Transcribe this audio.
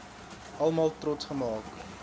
almal trots gemaak